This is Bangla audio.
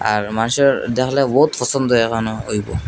আর মানুষের পছন্দ এখানে হইবো।